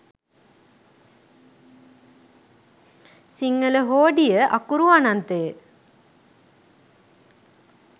සිංහල හෝඩිය අකුරු අනන්තය